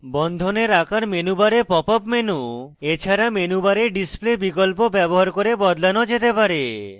বন্ধনের আকার menu bar pop up menu এছাড়া menu bar display বিকল্প bar করে বদলানো যেতে bar